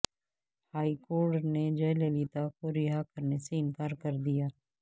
high court نے جےللیتا کو رہا کرنے سے انکار کر دیا